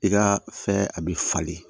I ka fɛn a bɛ falen